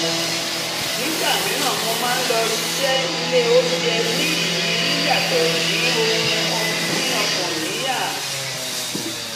nígbà mìíràn mo máa lọ ṣiṣẹ́ ilé oúnjẹ ní ìrírí yàtọ̀ dín ohun pín ọkàn níyà